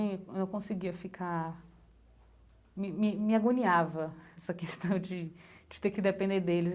Hum não conseguia ficar... Me me me agoniava essa questão de de ter que depender deles.